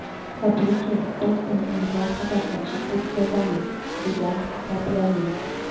Tabiiyki, biz buni imkon qadar ochiq o‘tkazamiz”, degan Sobyanin.